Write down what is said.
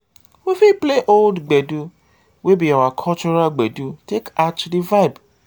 we fit play old gbedu wey be our cultural gbeedu take add to di vibe